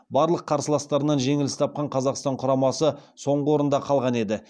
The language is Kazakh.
барлық қарсыластарынан жеңіліс тапқан қазақстан құрамасы соңғы орында қалған еді